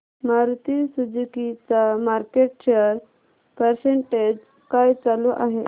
Maruti Suzuki चा market share percentage काय चालू आहे